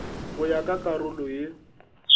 go ya ka karolo ye